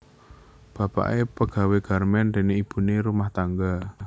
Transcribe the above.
Bapake pegawai garmen dene ibune ibu rumah tangga